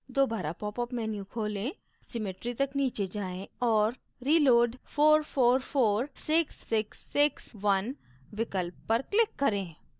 दोबारा popup menu खोलें symmetry तक नीचे जाएँ और reload {4 4 4 6 6 6 1} विकल्प पर click करें